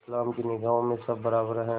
इस्लाम की निगाह में सब बराबर हैं